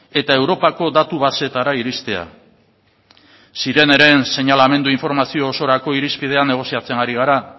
eta europako datu baseetara iristea sireneren seinalamendu informazio osorako irizpidea negoziatzen ari gara